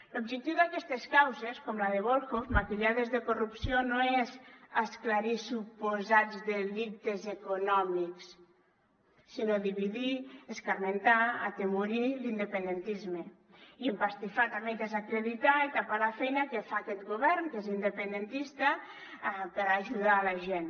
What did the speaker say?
l’objectiu d’aquestes causes com la de volhov maquillades de corrupció no és esclarir suposats delictes econòmics sinó dividir escarmentar atemorir l’independentisme i empastifar també i desacreditar i tapar la feina que fa aquest govern que és independentista per ajudar la gent